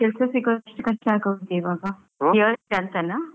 ಕೆಲಸ ಸಿಗೋದೆ ಎಷ್ಟು ಕಷ್ಟ ಆಗೋಗಿದೆ ಇವಾಗ priority ಅಂತನ.